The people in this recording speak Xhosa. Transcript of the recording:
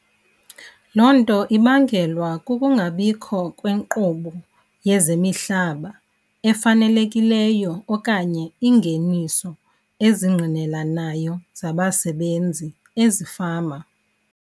Loo nto ibangelwa kukungabikho kwenkqubo yezemihlaba efanelekileyo okanye iingeniso ezingqinelanayo zabasebenzi ezifama.